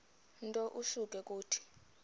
nto usuke uthi